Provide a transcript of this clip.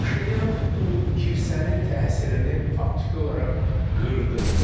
Paşinyan bu kilsənin təsirini faktiki olaraq qırdı.